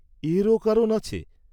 এরও কারণ আছে!